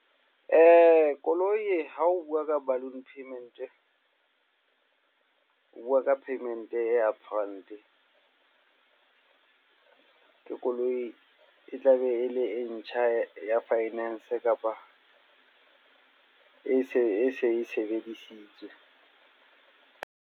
Koloi ha o bua ka balloon payment. O bua ka payment e upfront. Ke koloi e tla be e le e ntjha ya finance kapa e se e se e sebedisitswe.